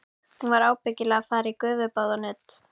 Hún var ábyggilega að fara í gufubað og nudd.